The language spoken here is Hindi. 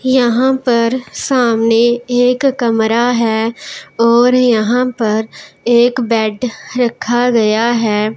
यहां पर सामने एक कमरा है और यहां पर एक बेड रखा गया है।